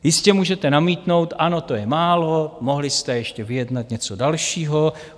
Jistě, můžete namítnout, ano, to je málo, mohli jste ještě vyjednat něco dalšího.